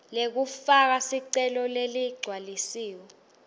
lekufaka sicelo leligcwalisiwe